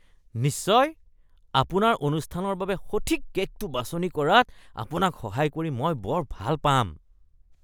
নিশ্চয়! আপোনাৰ অনুষ্ঠানৰ বাবে সঠিক কে'কটো বাছনি কৰাত আপোনাক সহায় কৰি মই বৰ ভাল পাম।